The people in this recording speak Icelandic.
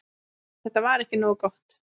Þetta var ekki nógu gott.